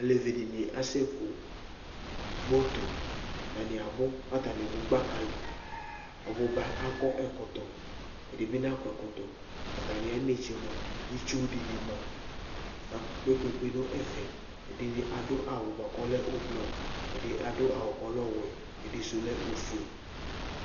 alevi di ni asɛ ku moto, ata ni abu, ku ata ni du gbaka li, ɔbuba akɔ ɛkɔtɔ, ɛdi bi nakɔ ɛkɔtɔ ata mi ayi enetse mʋa itsu di ni ma ka kpekpekpe nu ɛfɛ , ɛdini adu awu bʋa ku ɔlɛ ublu , ɛdi adu awu ku ɔlɛ ɔwɛ, ɛdi du lɛ ofue